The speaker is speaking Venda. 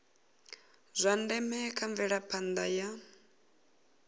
zwa ndeme kha mvelaphanda ya